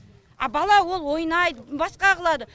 а бала ол ойнайды басқа қылады